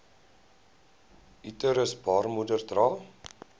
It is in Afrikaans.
uterus baarmoeder dra